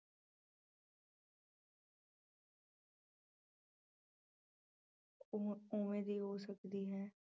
ਉ~ ਉਵੇਂ ਦੀ ਹੋ ਸਕਦੀ ਹੈ।